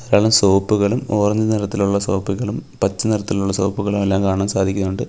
ധാരാളം സോപ്പുകളും ഓറഞ്ച് നിറത്തിലുള്ള സോപ്പുകളും പച്ചനിറത്തിലുള്ള സോപ്പുകളുമെല്ലാം കാണാൻ സാധിക്കുന്നുണ്ട്.